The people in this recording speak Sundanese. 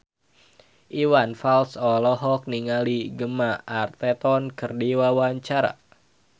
Iwan Fals olohok ningali Gemma Arterton keur diwawancara